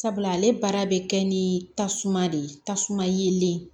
Sabula ale baara bɛ kɛ ni tasuma de ye tasuma yelen